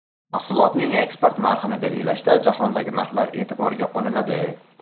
Mahsulotning eksport narxini belgilashda jahondagi narxlar e’tiborga olinadi.